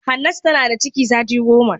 Hannatu tana da ciki sati goma.